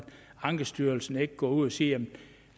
ankestyrelsen ikke kan gå ud at sige at en